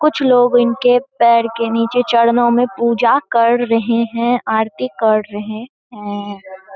कुछ लोग इनके पैर के नीचे चरणों मे पूजा कड़ रहें हैं। आरती कड़ रहें हैं।